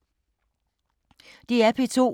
DR P2